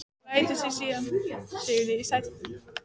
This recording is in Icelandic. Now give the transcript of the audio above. Lætur sig síðan síga niður í sætið.